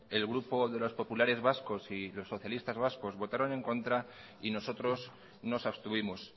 el grupo de los populares vascos y los socialistas vascos votaron en contra y nosotros nos abstuvimos